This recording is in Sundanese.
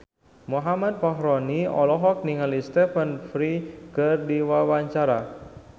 Muhammad Fachroni olohok ningali Stephen Fry keur diwawancara